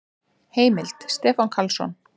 Heimild: Stefán Karlsson.